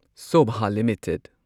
Sobha limited